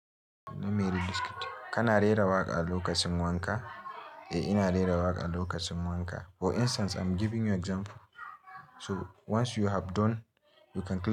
Na mari biskit. Kana rera waƙa a lokacin wanka? Eh, ina rera waƙa a lokacin wanka. For instance I'm giving you example. Toh! Once you have done, you can.